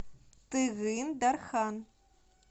тыгын дархан